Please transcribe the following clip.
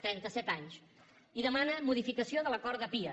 trentaset anys i demana modificació de l’acord de pia